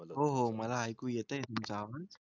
हो हो मला ऐकू येतोय तुमचा आवाज.